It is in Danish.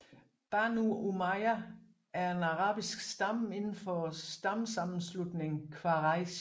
Banū Umayya er en arabisk stamme inden for stammesammenslutningen Quraysh